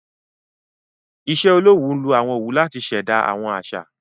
iṣẹ-olowu nlọ àwọn òwu láti ṣ'èdá àwọn àṣà.